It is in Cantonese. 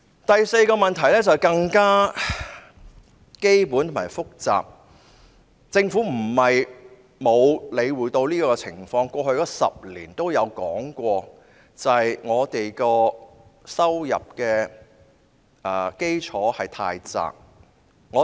第四個問題是更加基本但複雜，政府不是沒有理會這個情況的，在過去10年亦曾提及，就是香港的收入基礎太過狹窄。